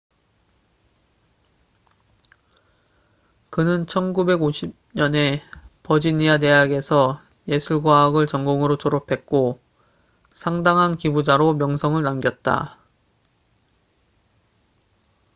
그는 1950년에 버지니아 대학에서 예술 과학을 전공으로 졸업했고 상당한 기부자로 명성을 남겼다